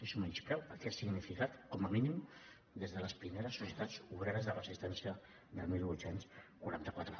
és un menyspreu al que ha significat com a mínim des de les primeres societats obreres de resistència del divuit quaranta quatre